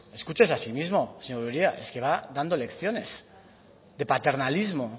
pues escúchese a sí mismo señor uria es que va dando lecciones de paternalismo